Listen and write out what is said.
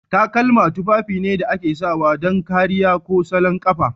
Takalma tufafi ne da ake sawa don kariya ko salon kafa.